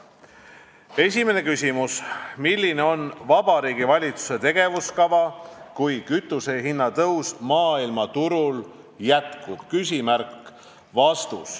Esimene küsimus: "Milline on Vabariigi Valitsuse tegevuskava, kui kütusehinna tõus maailmaturul jätkub?